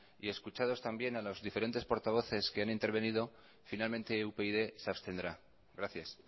y escuchados también a los diferentes portavoces que han intervenido finalmente upyd se abstendrá gracias